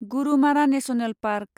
Gorumara National park